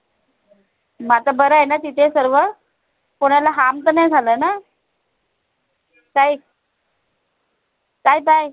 आता बर आहे न तिथे सर्व? कोणाला harm त नाय झालं न? ताई tai bye